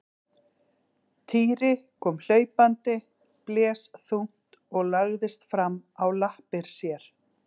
Týri kom hlaupandi, blés þungt og lagðist fram á lappir sér.